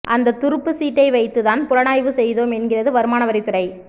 அந்த துருப்புச் சீட்டை வைத்துதான் புலனாய்வு செய்தோம் என்கிறது வருமானவரித்துறை